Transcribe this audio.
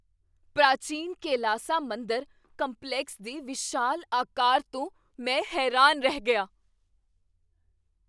ਪ੍ਰਾਚੀਨ ਕੈਲਾਸਾ ਮੰਦਰ ਕੰਪਲੈਕਸ ਦੇ ਵਿਸ਼ਾਲ ਆਕਾਰ ਤੋਂ ਮੈਂ ਹੈਰਾਨ ਰਹਿ ਗਿਆ!